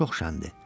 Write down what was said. Çox şəndir.